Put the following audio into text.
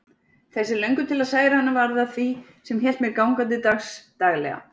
Þessi löngun til að særa hana varð að því sem hélt mér gangandi dagsdaglega.